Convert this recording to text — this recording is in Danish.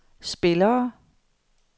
spillere